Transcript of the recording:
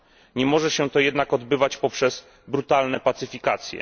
Nie może się to jednak odbywać poprzez brutalne pacyfikacje.